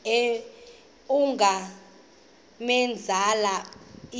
ungamenzela into embi